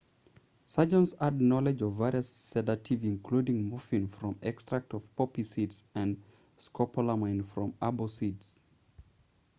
surgeons had knowledge of various sedatives including morphine from extracts of poppy seeds and scopolamine from herbane seeds